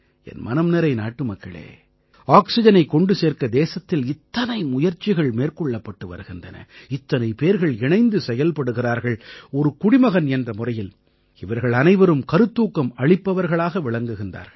என் மனம் நிறை நாட்டுமக்களே ஆக்சிஜனைக் கொண்டு சேர்க்க தேசத்தில் இத்தனை முயற்சிகள் மேற்கொள்ளப்பட்டு வருகின்றன இத்தனை பேர்கள் இணைந்து செயல்படுகிறார்கள் ஒரு குடிமகன் என்ற முறையில் இவர்கள் அனைவரும் கருத்தூக்கம் அளிப்பவர்களாக விளங்குகிறார்கள்